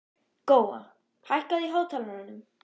Góa, hækkaðu í hátalaranum.